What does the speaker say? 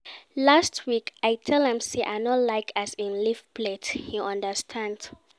Last week, I tell am sey I no like as im leave plate, he understand.